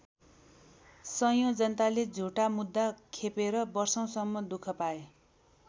सयौँ जनताले झुटा मुद्दा खेपेर वर्षौँसम्म दुःख पाए।